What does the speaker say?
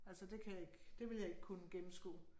Altså det kan jeg ikke. Det ville jeg ikke kunne gennemskue